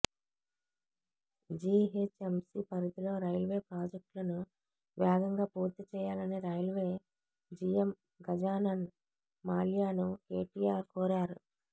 GHMC పరిధిలో railway ప్రాజెక్టులను వేగంగా పూర్తిచేయాలని రైల్వే జీఎం గజానన్ మాల్యాను కేటీఆర్ కోరారు